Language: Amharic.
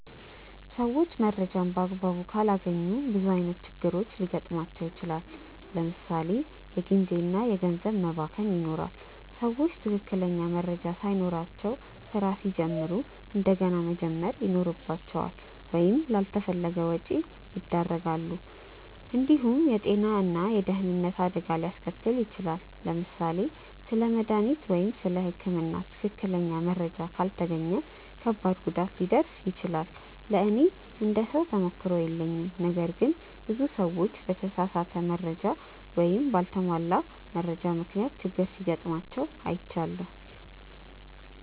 ሰዎች መረጃን በአግባቡ ካላገኙ ብዙ ዓይነት ችግሮች ሊገጥሟቸው ይችላል። ለምሳ ሌ የጊዜ እና ገንዘብ መባከን ይኖራል። ሰዎች ትክክለኛ መረጃ ሳይኖራቸው ስራ ሲጀምሩ እንደገና መጀመር ይኖርባቸዋል ወይም ላልተፈለገ ወጪ ያደርጋሉ። እንዲሁም የጤና ወይም የደህንነት አደጋ ሊያስከትል ይችላል። ለምሳሌ ስለ መድሃኒት ወይም ስለ ህክምና ትክክለኛ መረጃ ካልተገኘ ከባድ ጉዳት ሊደርስ ይችላል። ለእኔ እንደ ሰው ተሞክሮ የለኝም ነገር ግን ብዙ ሰዎች በተሳሳተ ወይም በአልተሟላ መረጃ ምክንያት ችግር ሲጋጥማቸው አይቻለሁ።